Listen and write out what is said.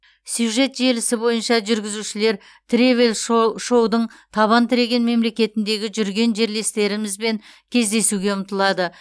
сюжет желісі бойынша жүргізушілер тревел шо шоудың табан тіреген мемлекетіндегі жүрген жерлестерімізбен кездесуге ұмтылады